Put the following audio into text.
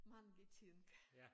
Mange ting